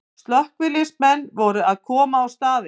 Slökkviliðsmenn voru að koma á staðinn